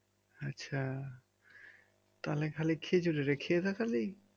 আচ্ছা তাহলে খালি খেজুরের খেয়ে থাকলি